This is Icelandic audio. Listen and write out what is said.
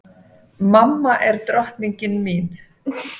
Mamma er drottningin mín.